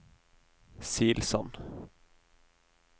Silsand